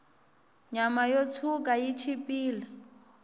nyama yo tshwuka yi chipile